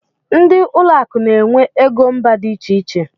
Ndị ụlọ akụ n'enwe égo mba dị iche iche.